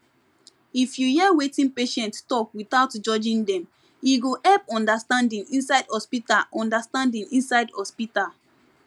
if you hear wetin patient talk without judging dem e go help understanding inside hospital understanding inside hospital